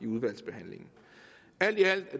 udvalgsbehandlingen alt i alt